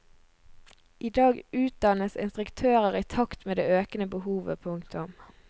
I dag utdannes instruktører i takt med det økende behovet. punktum